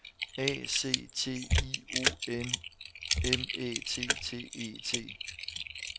A C T I O N M Æ T T E T